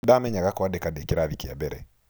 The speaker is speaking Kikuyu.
Nĩ ndamenyaga kwandĩka ndĩ kĩrathi kĩa mbere.